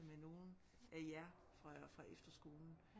Med nogle af jer fra fra efterskolen